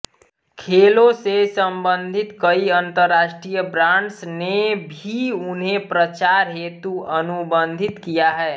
खेलों से संबंधित कई अंतर्राष्ट्रीय ब्रांड्स ने भी उन्हें प्रचार हेतु अनुबंधित किया है